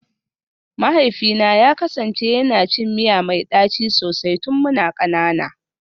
Mahaifina ya kasance yana cin miya mai daci sosai tun muna kanana